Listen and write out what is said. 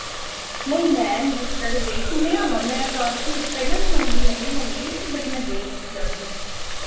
ਨਹੀਂ ਮੈਂ ਨੀ ਅਜੇ ਤੱਕ ਗਈ ਸੁਣਿਆ ਵਾ ਮੈ ਪਹਿਲਾਂ ਕਾਫੀ ਪਹਿਲਾਂ ਵੀ ਸੁਣਦੀ ਆਈ ਹੁਣ ਵੀ but ਮੈਂ ਗਈ ਨਹੀਂ ਅਜੇ ਤੱਕ